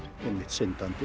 syndandi